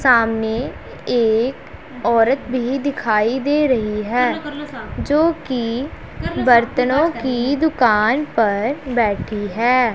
सामने एक औरत भी दिखाई दे रही है जो की बर्तनो की दुकान पर बैठी है।